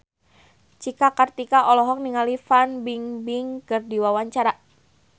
Cika Kartika olohok ningali Fan Bingbing keur diwawancara